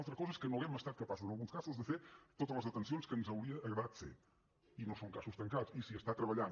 altra cosa és que no hàgim estat capaços en alguns casos de fer totes les detencions que ens hauria agradat fer i no són casos tancats i s’hi està treballant